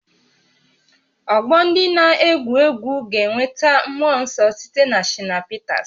Ọgbọ ndị na-egwu egwu ga-enweta mmụọ nsọ site na Shina Peters